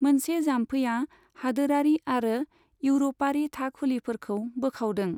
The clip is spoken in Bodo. मोनसे जाम्फैआ हादोरारि आरो एउर'पारि थाखुलिफोरखौ बोखावदों।